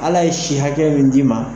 Ala ye si hakɛ min d'i ma